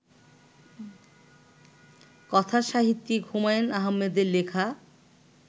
কথা সাহিত্যিক হুমায়ূন আহমেদের লেখা